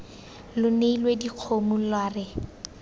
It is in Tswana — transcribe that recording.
lo neile dikgomo lwa re